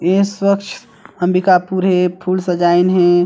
ए स्वत्छ अंबिकापुर हे फूल सजाइन हे।